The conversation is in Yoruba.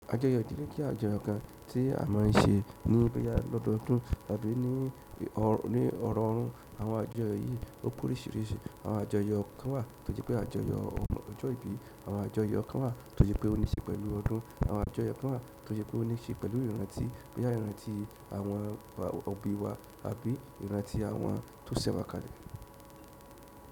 Àjọyọ̀ ìdílé jẹ́ àjọyọ̀ kan tí a má ń ṣe ní bóyá lọ́dọọdún àbí ní ọrọọrún. Àwọn àjọyọ̀ yìí ó pé oríṣiríṣi. Àwọn àjọyọ̀ kan wà tó jẹ́ pé àjọyọ̀ ọjọ́ ìbí. Àwọn àjọyọ̀ kan wà tó jẹ́ pé ó níṣe pẹ̀lú ọdún. Àwọn àjọyọ̀ kan wà tó jẹ́ pé ó níṣe pẹ̀lú ìrántí, bóyá ìrántí àwọn òbí wa àbí ìrántí àwọn tó sẹ̀wá kalẹ̀.